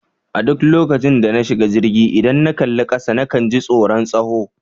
A duk lokacin da na shiga jirgi, idan na kalli kasa na kan ji tsoron tsawo.